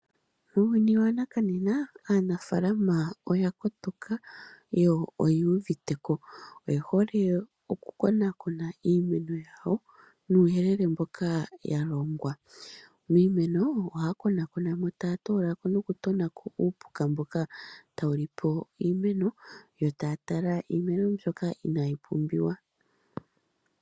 Muuyuni wanakanena aanafaalama oya kotoka, yo oyuuviteko. Oye hole okukonakona iimuna yawo nuuyelele mboka yalongwa. Miimeno ohaya konakonamo ,taya toolamo nokutonako uupuka mboka tawu lipo iimeno, yo taya tala iimeno mbyoka inaayi pumbiwa.